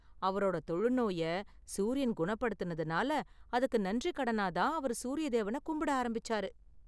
அவரோட தொழுநோய சூரியன் குணப்படுத்துனதுனால, அதுக்கு நன்றிக்கடனா தான் அவரு சூரிய தேவன கும்பிட ஆரம்பிச்சாரு.